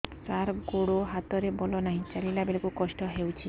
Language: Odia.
ସାର ଗୋଡୋ ହାତରେ ବଳ ନାହିଁ ଚାଲିଲା ବେଳକୁ କଷ୍ଟ ହେଉଛି